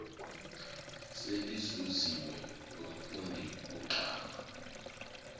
seluzuziwe ngumfundi kugqama